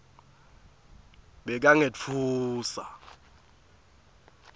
bekangetfuswa